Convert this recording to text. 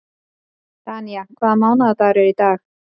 Danía, hvaða mánaðardagur er í dag?